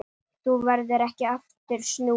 Þá verður ekki aftur snúið.